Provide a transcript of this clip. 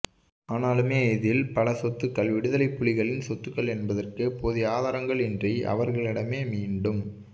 ஆனாலும் இதில் பல சொத்துக்கள் விடுதலைப்புலிகளின் சொத்துக்கள் என்பதற்கு போதிய ஆதாரங்கள் இன்றி அவர்களிடமே மீண்டும்